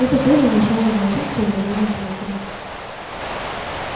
это тоже внушало волчонку уважение к матери